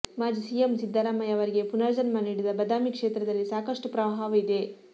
ಮಾಜಿ ಸಿಎಂ ಸಿದ್ದರಾಮಯ್ಯ ಅವರಿಗೆ ಪುನರ್ಜನ್ಮ ನೀಡಿದ ಬದಾಮಿ ಕ್ಷೇತ್ರದಲ್ಲಿ ಸಾಕಷ್ಟು ಪ್ರವಾಹವಿದೆ